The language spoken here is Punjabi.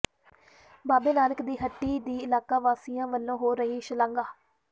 ਬਾਬੇ ਨਾਨਕ ਦੀ ਹੱਟੀ ਦੀ ਇਲਾਕਾ ਵਾਸੀਆਂ ਵਲੋਂ ਹੋ ਰਹੀ ਸ਼ਲਾਘਾ